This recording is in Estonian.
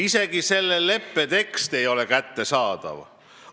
Isegi selle leppe tekst ei ole kättesaadav.